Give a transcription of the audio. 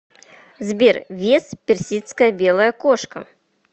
сбер вес персидская белая кошка